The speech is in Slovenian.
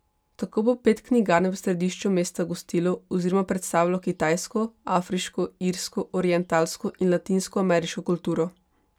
Tako bo pet knjigarn v središču mesta gostilo oziroma predstavilo kitajsko, afriško, irsko, orientalsko in latinskoameriško kulturo.